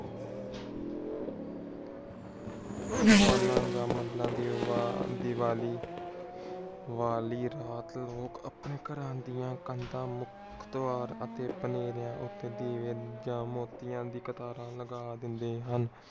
ਦੀਵਾ ਦੀਵਾਲੀ ਵਾਲੀ ਰਾਤ ਲੋਕ ਆਪਣੀ ਘਰਾਂ ਦੀਆਂ ਕੰਦਾ ਮੁਖ ਦਵਾਰ ਅਤੇ ਵਨੇਰੇਆਂ ਉਤੇ ਦੀਵੇ ਜਾਂ ਮੋਤੀਆਂ ਦੀ ਕਤਾਰਾਂ ਲਗਾ ਦਿੰਦੇ ਹਨ।